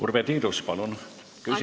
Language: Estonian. Urve Tiidus, palun küsimus!